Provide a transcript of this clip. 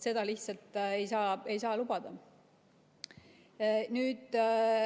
Seda lihtsalt ei saa lubada.